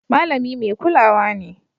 Malami mai kulawa ne